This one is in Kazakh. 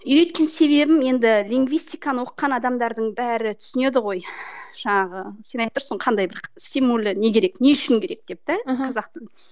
үйреткен себебім енді лингвистиканы оқыған адамдардың бәрі түсінеді ғой жаңағы сен айтып тұрсың ғой қандай бір стимулы не керек не үшін керек деп те қазақтың